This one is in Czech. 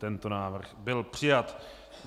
Tento návrh byl přijat.